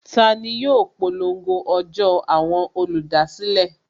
Tani yóò polongo ọjọ́ àwọn olùdásílẹ̀?